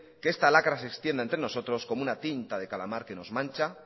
que esta lacra se extienda entre nosotros como una tinta de calamar que nos mancha